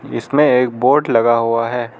इसमें एक बोर्ड लगा हुआ है।